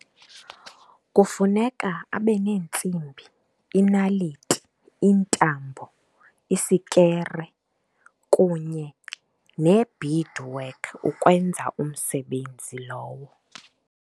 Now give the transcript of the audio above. Kufuneka abe neentsimbi, inaliti, iintambo, isikere kunye ne-beadwork ukwenza umsebenzi lowo.